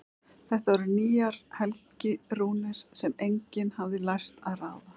Þetta voru nýjar helgirúnir sem enginn hafði lært að ráða.